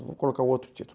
Vou colocar um outro título.